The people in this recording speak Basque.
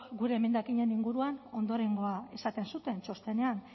gure emendakinen inguruan ondorengoa esaten zuten txostenean